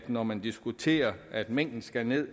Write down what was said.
når man diskuterer at mængden skal ned